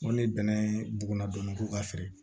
N ko ni bɛnɛ buna dɔn ko ka feere